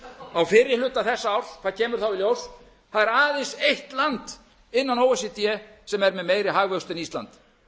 á fyrri hluta þessa árs hvað kemur þá í ljós það er aðeins eitt land innan o e c d með meiri hagvöxt en ísland